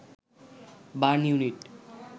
burn unit